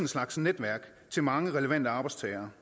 slags netværk til mange relevante arbejdstagere